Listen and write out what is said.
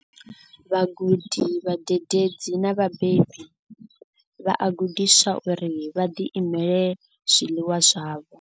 Vhagudi, vhadededzi na vhabebi vha a gudiswa uri vha ḓilimele zwiḽiwa zwavho.